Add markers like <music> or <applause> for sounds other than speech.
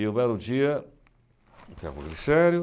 E um belo dia, <unintelligible> glicério,